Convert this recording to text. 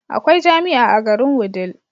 Akwai jamia a garin wudil